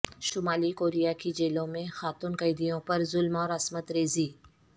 شمالی کوریا کی جیلوں میں خاتون قیدیوں پر ظلم اور عصمت ریزی